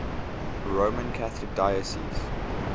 roman catholic diocese